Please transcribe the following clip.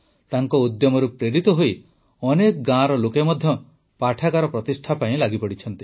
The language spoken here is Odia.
ତାଙ୍କ ଉଦ୍ୟମରୁ ପ୍ରେରିତ ହୋଇ ଅନେକ ଗାଁର ଲୋକ ମଧ୍ୟ ପାଠାଗାର ପ୍ରତିଷ୍ଠା ପାଇଁ ଲାଗିଛନ୍ତି